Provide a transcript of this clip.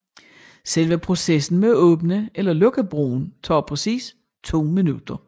Selve processen med at åbne eller lukke broen tager præcis to minutter